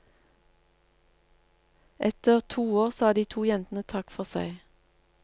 Etter to år sa de to jentene takk for seg.